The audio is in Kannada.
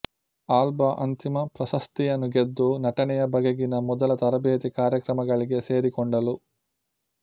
ಆಲ್ಬಾ ಅಂತಿಮ ಪ್ರಶಸ್ತಿಯನ್ನು ಗೆದ್ದು ನಟನೆಯ ಬಗೆಗಿನ ಮೊದಲ ತರಬೇತಿ ಕಾರ್ಯಕ್ರಮಗಳಿಗೆ ಸೇರಿಕೊಂಡಳು